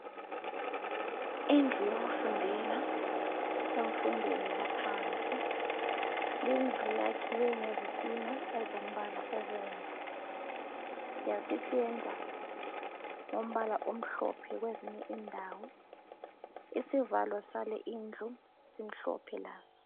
Indlu yokufundela emfundweni yaphansi yindlu eyakhiwe ngezitina zombala obomvu yasipendwa ngombala omhlophe kwezinye indawo isivalo saleyindlu simhlophe laso